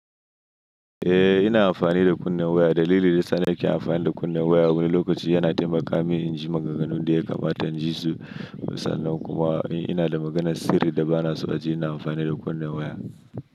Eh ina amfani da kunnen waya. Dalilin da zanake amfani da kunnen waya wani lokaci yana taimaka mini in ji maganganun da ke gabata jisu misali kuma ina da maganan sirri da ba na so a ji ina amfani da kunnen waya.